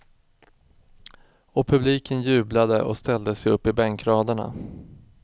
Och publiken jublade och ställde sig upp i bänkraderna.